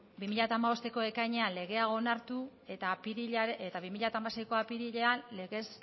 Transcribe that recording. bi mila hamabosteko ekainean legea onartu eta bi mila hamaseiko apirilean legez